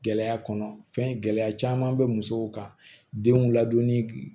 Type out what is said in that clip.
Gɛlɛya kɔnɔ fɛn gɛlɛya caman bɛ musow ka denw ladonni